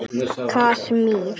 Í Kasmír